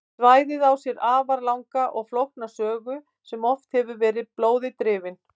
Svæðið á sér því afar langa og flókna sögu sem oft hefur verið blóði drifin.